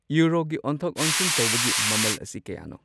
ꯌꯨꯔꯣꯒꯤ ꯑꯣꯟꯊꯣꯛ ꯑꯣꯟꯁꯤꯟ ꯇꯧꯕꯒꯤ ꯃꯃꯜ ꯑꯁꯤ ꯀꯌꯥꯅꯣ